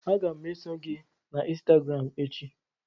Aga m eso gị na ịnstagram echi